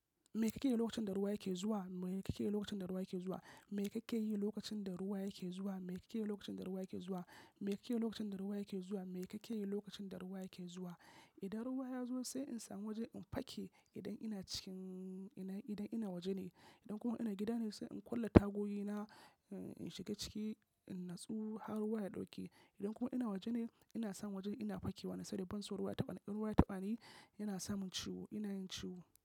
Me kake yi lokacin da ruwa yake zuwa? Me kake yi lokacin da ruwa yake zuwa? Me kake yi lokacin da ruwa yake zuwa? Me kake yi lokacin da ruwa yake zuwa? Me kake yi lokacin da ruwa yake zuwa? Me kake yi lokacin da ruwa yake zuwa? Idan ruwa ya zo sai in samu waje in fake idan ina cikin, idan ina waje ne. Idan kuma ina gida ne sai in kulle tagogi na, in shiga ciki, in natsu har ruwa ya ɗauke. Idan kuma ina waje ne, ina samu waje ina fakewa ne saboda ban san ruwa ya taɓa ni, ruwa ya taɓani yana samun ciwo, ina yin ciwo.